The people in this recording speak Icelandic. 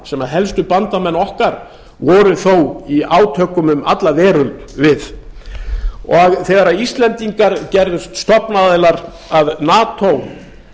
sem helstu bandamenn okkar voru þó í átökum um alla veröld við þegar íslendingar gerðust stofnaðilar að nato